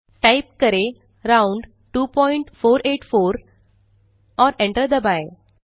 type करें राउंड2484 और एंटर दबाएँ